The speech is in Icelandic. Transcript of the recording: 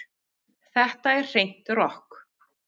Þetta er hreint rokk